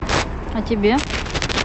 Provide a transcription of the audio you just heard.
а тебе